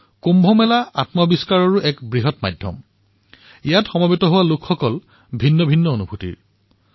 কুম্ভ মেলা স্বআৱিষ্কাৰৰ এক বৃহৎ মাধ্যম যত আহিবলগীয়া দৰ্শনাৰ্থীসকলে বিভিন্ন অনুভূতি অনুভৱ কৰিব